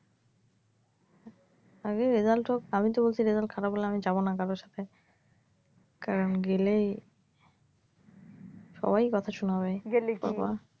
আগে result হোক আমি তো বলছি result খারাপ হলে আমি যাবনা কারোর সাথে। কারন গেলেই সবাই কথা শুনাবে বাবা,